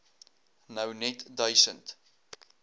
nou net duisend